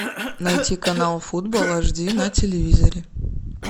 найти канал футбол аш ди на телевизоре